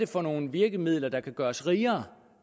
for nogle virkemidler der kan gøre os rigere